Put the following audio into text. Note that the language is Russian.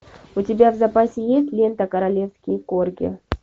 у тебя в запасе есть лента королевские корги